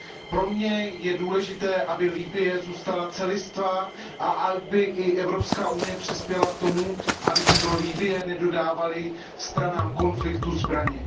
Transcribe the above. Pro mě je důležité, aby Libye zůstala celistvá a aby i Evropská unie přispěla k tomu, aby se do Libye nedodávaly stranám konfliktu zbraně.